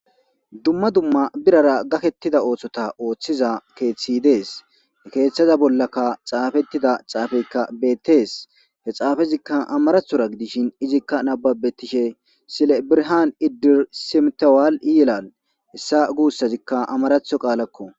Dumma dumma birara gakettida ootshota ooththiza keeththi dees keeththaza bollakka xaafettida xaafeykka bettees he xaafezikka amarathora gidishin izikka nababetishe sile birhan iddir simtawaal i yelal hessa guussazikka amaratho qaalakko.